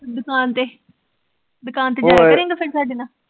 ਦੁਕਾਨ ਤੇ, ਦੁਕਾਨ ਤੇ ਜਾਇਆ ਕਰੇਂਗਾ ਫਿਰ ਸਾਡੇ ਨਾਲ